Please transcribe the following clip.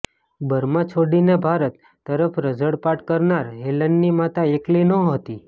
Burma છોડીને ભારત તરફ રઝળપાટ કરનાર હેલનની માતા એકલી નહોતી